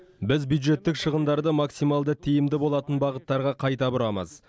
біз бюджеттік шығындарды максималды тиімді болатын бағыттарға қайта бұрамыз